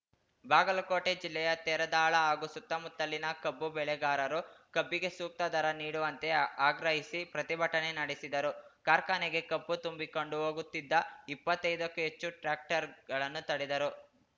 ಬಾಗಲಕೋಟೆ ಜಿಲ್ಲೆಯ ತೇರದಾಳ ಹಾಗೂ ಸುತ್ತಮುತ್ತಲಿನ ಕಬ್ಬು ಬೆಳೆಗಾರರು ಕಬ್ಬಿಗೆ ಸೂಕ್ತ ದರ ನೀಡುವಂತೆ ಆಗ್ರಹಿಸಿ ಪ್ರತಿಭಟನೆ ನಡೆಸಿದರು ಕಾರ್ಖಾನೆಗೆ ಕಬ್ಬು ತುಂಬಿಕೊಂಡು ಹೋಗುತ್ತಿದ್ದ ಇಪ್ಪತ್ತೈದಕ್ಕೂ ಹೆಚ್ಚು ಟ್ರ್ಯಾಕ್ಟರ್‌ಗಳನ್ನು ತಡೆದರು